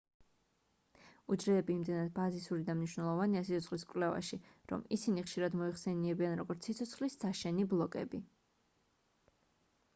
უჯრედები იმდენად ბაზისური და მნიშვნელოვანია სიცოცხლის კვლევაში რომ ისინი ხშირად მოიხსენიებიან როგორც სიცოცხლის საშენი ბლოკები